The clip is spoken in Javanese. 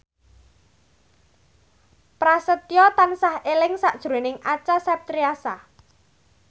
Prasetyo tansah eling sakjroning Acha Septriasa